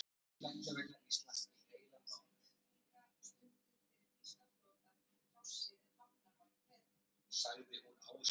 Stríðsmerki þýskra skipa, sem flutninga stunduðu fyrir þýska flotann í trássi við hafnbann Breta.